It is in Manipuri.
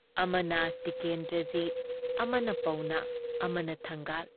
ꯑꯃꯅ ꯇꯤꯀꯦꯟꯗ꯭ꯔꯖꯤꯠ, ꯑꯃꯅ ꯄꯥꯎꯅꯥ, ꯑꯃꯅ ꯊꯪꯒꯥꯜ꯫